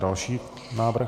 Další návrh.